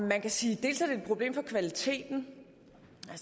man kan sige at problem for kvaliteten